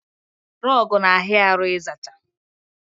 Rọgụ na ahịa arụ ịzacha